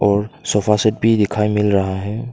और sofa set भी दिखाई मिल रहा है।